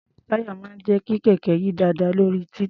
Táyà máà ń jẹ́ kí kẹ̀kẹ́ yí dáadáa lórí títì.